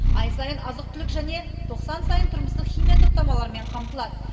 ай сайын азық түлік және тоқсан сайын тұрмыстық химия топтамаларымен қамтылады